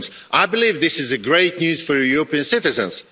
I believe this is great news for European citizens.